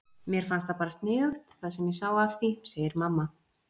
Mér fannst það bara sniðugt það sem ég sá af því, segir mamma.